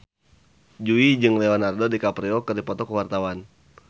Jui jeung Leonardo DiCaprio keur dipoto ku wartawan